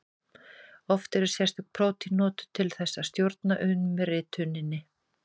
Oft eru sérstök prótín notuð til þess að stjórna umrituninni.